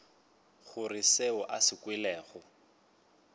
gore seo a se kwelego